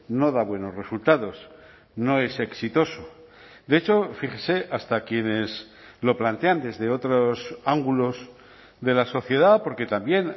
no da buenos resultados no es exitoso de hecho fíjese hasta quienes lo plantean desde otros ángulos de la sociedad porque también